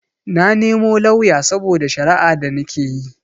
Na nemo lauya saboda shara'a da nikeyi